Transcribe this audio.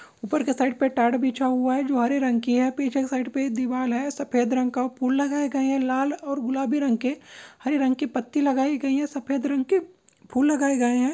ऊपर के साइड पर टाट बिछा हुआ है जो हरे रंग की है पीछे की साइड पे दीवाल है सफेद रंग का फूल लगाए गए हैं लाल और गुलाबी रंग के हरे रंग के पत्ती लगाई गई है सफेद रंग के फूल लगाए गए है ।